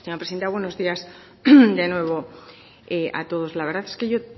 presidenta buenos días de nuevo a todos la verdad es que yo